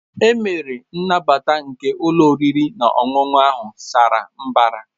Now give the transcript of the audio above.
E mere nnabata nke ụlọ oriri na ọṅụṅụ ahụ sara mbara